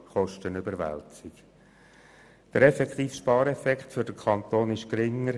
Der effektive Spareffekt für den Kanton ist geringer;